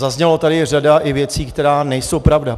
Zazněla tady i řada věcí, které nejsou pravda.